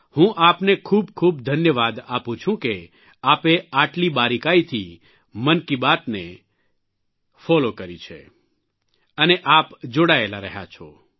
હું આપને ખૂબ ખૂબ ધન્યવાદ આપું છું કે આપે આટલી બારીકાઇથી મનકી બાદને ફોલો કરી છે અને આપ જોડાયેલા રહ્યા છો